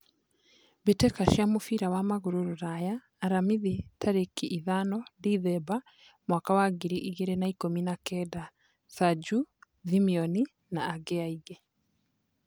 Mbĩ tĩ ka cia mũbira wa magũrũ Ruraya Aramithi tarĩ ki ithano Dithemba mwaka wa ngiri igĩ rĩ na ikũmi na kenda: Sajũ , Thimioni na angĩ aingĩ .